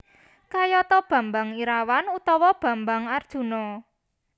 Kayata Bambang Irawan utawa Bambang Arjuna